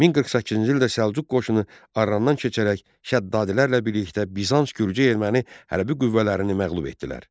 1048-ci ildə Səlcuq qoşunu Arrondan keçərək Şəddadilərlə birlikdə Bizans, gürcü, erməni hərbi qüvvələrini məğlub etdilər.